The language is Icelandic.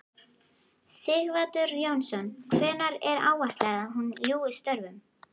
Sighvatur Jónsson: Hvenær er áætlað að hún ljúki störfum?